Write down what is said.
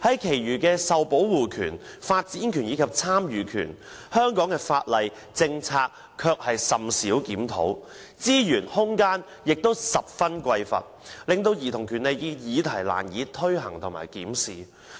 然而，對於受保護權、發展權及參與權，香港的法例和政策卻甚少檢討，資源和空間均十分匱乏，令兒童權利議題難以推行和檢視。